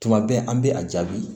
Tuma bɛɛ an bɛ a jaabi